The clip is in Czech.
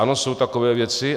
Ano, jsou takové věci.